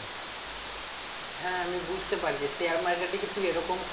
হ্যাঁ আমি বুঝতে পারছি share market এ কি তুই এরকম